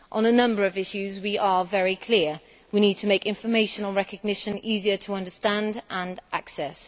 On a number of issues we are very clear we need to make information on recognition easier to understand and access